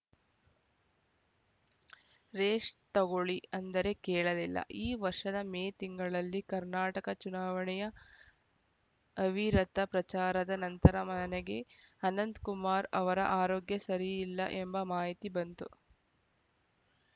rest ತಗೊಳ್ಳಿ ಅಂದರೆ ಕೇಳಲಿಲ್ಲ ಈ ವರ್ಷದ ಮೇ ತಿಂಗಳಲ್ಲಿ ಕರ್ನಾಟಕ ಚುನಾವಣೆಯ ಅವಿರತ ಪ್ರಚಾರದ ನಂತರ ನನಗೆ ಅನಂತಕುಮಾರ್‌ ಅವರ ಆರೋಗ್ಯ ಸರಿಯಿಲ್ಲ ಎಂಬ ಮಾಹಿತಿ ಬಂತು